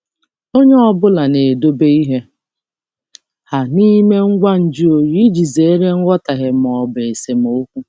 Onye ọ bụla na-edobe ihe ha n'ime ngwa nju oyi iji zere nghọtahie ma ọ bụ esemokwu.